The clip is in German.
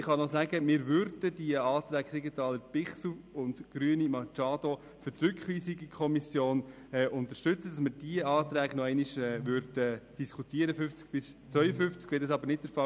Ich kann nur sagen, dass wir die Anträge Siegenthaler/Bichsel und Grüne/Machado für die Rückweisung in die Kommission unterstützen und dass wir die Anträge betreffend Artikel 50 bis 52 noch einmal diskutieren würden.